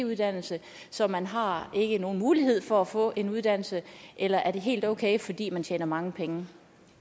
uddannelse så man har ikke nogen mulighed for at få en uddannelse eller er det helt okay fordi man tjener mange penge